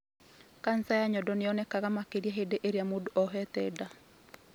Kanja ya nyondo nĩyonekaga makĩria hĩndĩ irĩa mũndũ ohete nda